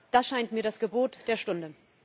Das scheint mir das Gebot der Stunde.